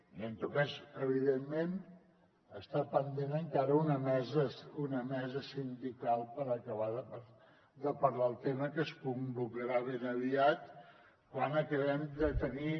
i en tot cas evidentment està pendent encara una mesa sindical per acabar de parlar el tema que es convocarà ben aviat quan acabem de tenir